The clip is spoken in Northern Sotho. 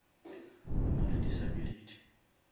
o nale disability